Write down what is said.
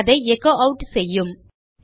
பின் அதை echo add செய்யும்